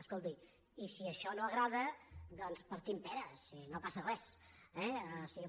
escolti i si això no agrada doncs partim peres i no passa res eh o sigui